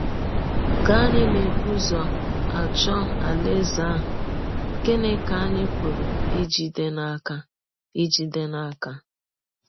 Ka anyị na - ebụ ụzọ achọ Alaeze ahụ, gịnị ka anyị pụrụ ijide n’aka ijide n’aka?